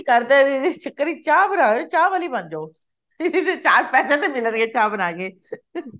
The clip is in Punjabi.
ਕਰਦੇ ਚਾਹ ਬਣਦੇ ਚਾਹ ਵਾਲੀ ਬਣ ਜਾ ਚਾਰ ਪੈਸੇ ਤਾਂ ਮਿਲਣਗੇ ਚਾਹ ਬਣਾ ਕੇ